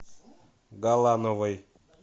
галановой